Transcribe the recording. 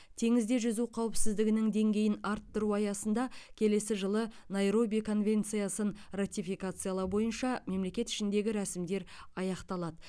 теңізде жүзу қауіпсіздігінің деңгейін арттыру аясында келесі жылы найроби конвенциясын ратификациялау бойынша мемлекет ішіндегі рәсімдер аяқталады